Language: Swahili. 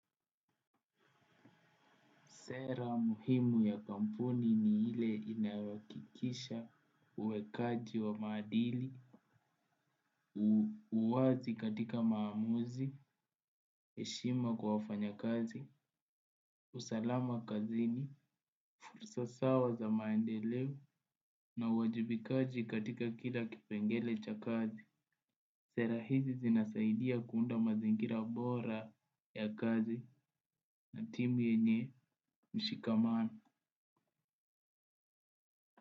Sera muhimu ya kampuni ni ile inawakikisha uwekaji wa madili, uwazi katika maamuzi, eshima kwa wafanya kazi, usalama kazini, fursa sawa za maendeleu na uwajibikaji katika kila kipengele cha kazi. Sera hizi zinasaidia kuunda mazingira bora ya kazi na timu yenye mshikamano.